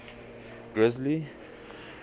grizzly